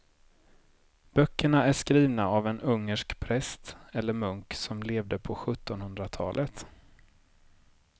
Böckerna är skrivna av en ungersk präst eller munk som levde på sjuttonhundratalet.